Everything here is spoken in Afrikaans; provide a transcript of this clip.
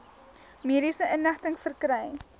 mediese inligting verkry